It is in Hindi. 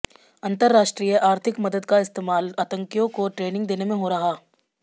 अंतरराष्ट्रीय आर्थिक मदद का इस्तेमाल आतंकियों को ट्रेनिंग देने में हो रहा